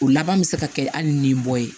O laban bɛ se ka kɛ hali ni bɔ ye